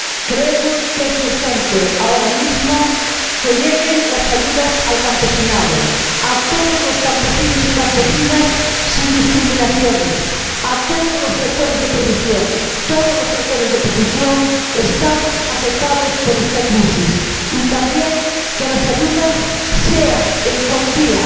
Creemos que es urgente ahora mismo que lleguen las ayudas al campesinado, a todos los campesinos y campesinas sin discriminaciones, a todos los sectores de producción —todos los sectores de producción estamos afectados por esta crisis—, y también que las ayudas sean en cuantía